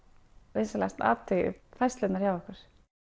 vinsamlegast athugið færslurnar hjá ykkur